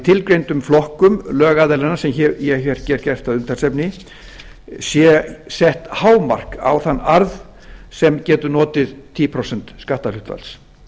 tilgreindum flokkum lögaðilanna sem ég hef hér gert að umtalsefni sé sett hámark á þann arð sem getur notið tíu prósent skatthlutfall